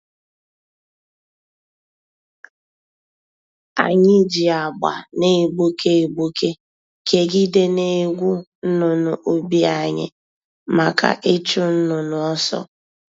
Anyị ji agba na-egbuke egbuke kegide na egwu-nnụnụ ubi anyị, maka ịchụ nnụnụ ọsọ.